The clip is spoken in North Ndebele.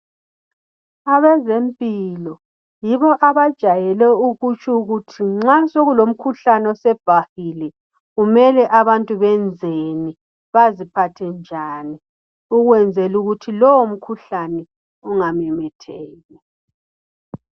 Abezempilo yibo abajayele nxa sekulomkhuhlane osubhahile kumele abantu benzeni baziphathe njani ukwenzela ukuthi lowomkhuhlane ungamemetheki.